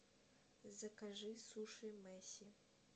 закажи суши месси